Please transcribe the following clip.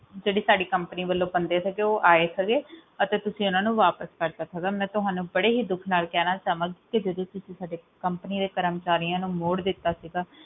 ਜਿਹੜੀ ਸਾਡੀ company ਵੱਲੋਂ ਬੰਦੇ ਜਿਹੜੇ ਸੀਗੇ ਉਹ ਆਏ ਸੀਗੇ ਅਤੇ ਤੁਸੀਂ ਓਹਨਾ ਨੂੰ ਵਾਪਸ ਕਰਤਾ ਸੀ ਮੈਂ ਤੁਹਾਨੂੰ ਬੜੇ ਹੀ ਦੁੱਖ ਨਾਲ ਕਹਿਣਾ ਚਾਹੂੰਗੀ ਕਿ ਜਦੋਂ ਤੁਸੀਂ ਸਾਡੇ ਦੇ ਕਰਮਚਾਰੀਆਂ ਨੂੰ ਮੋੜ ਦਿੱਤਾ ਸੀਗਾ